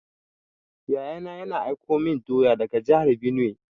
Yaya na, yana aiko min doya daga jahar benue.